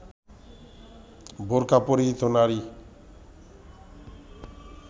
বোরকা পরিহিত নারী